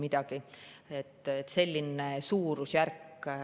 Nii et selline suurusjärk.